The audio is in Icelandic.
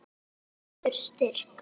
Ég verð aftur styrk.